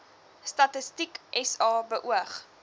statistiek sa beoog